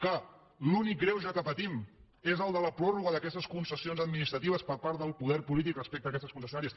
que l’únic greuge que patim és el de la pròrroga d’aquestes concessions administratives per part del poder polític respecte a aquestes concessionàries